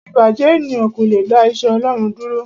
Ìbàjẹ́ ènìyàn kò le dá iṣẹ́ Ọlọ́run dúró.